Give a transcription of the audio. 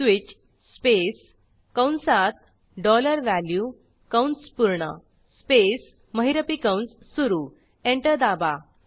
switch space कंसातdollar value कंस पूर्ण स्पेस महिरपी कंस सुरू एंटर दाबा